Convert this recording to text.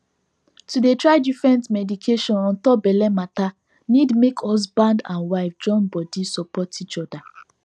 to dey try different medication untop belle matter need make husband and wife join body support each other